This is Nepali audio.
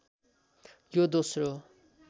यो दोस्रो